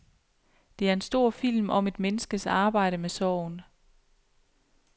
Det er en stor film om et menneskes arbejde med sorgen.